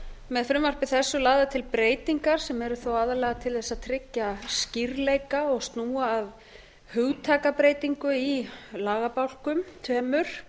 með frumvarpi þessu lagðar til breytingar sem eru þó aðallega til þess að tryggja skýrleika og snúa að hugtakabreytingu í lagabálkum tveimur